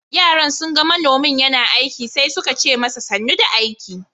Yaran sun ga manomin yana aiki sai suka ce masa "Sanu da aiki."